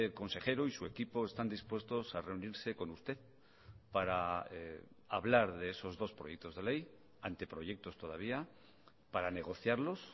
consejero y su equipo están dispuestos a reunirse con usted para hablar de esos dos proyectos de ley anteproyectos todavía para negociarlos